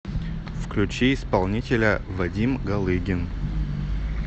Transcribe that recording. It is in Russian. включи исполнителя вадим галыгин